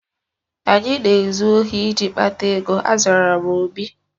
Anyị na-ezu ohi iji kpata ego, azara m obi